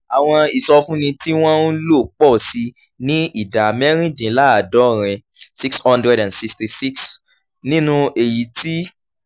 àwọn ìsọfúnni tí wọ́n ń lò pọ̀ sí i ní ìdá mẹ́rìndínláàádọ́rin [ six hundred sixty six percent] nínú èyí tí